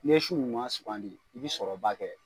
N'i ye si ɲuman sugandi i bi sɔrɔ ba kɛ.